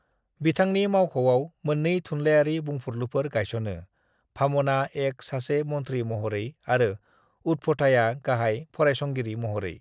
बिथांनि मावख'आव मोन्नै थुनलाइयारि बुंफुरलुफोर गायस'नो: भाम'ना एक सासे मन्थ्रि महरै आरो उदभथाया गाहाय फरायसंगिरि महरै।